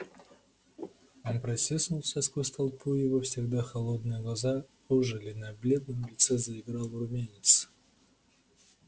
он протиснулся сквозь толпу его всегда холодные глаза ожили на бледном лице заиграл румянец